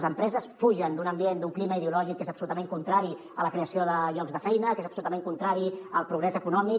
les empreses fugen d’un ambient d’un clima ideològic que és absolutament contrari a la creació de llocs de feina que és absolutament contrari al progrés econòmic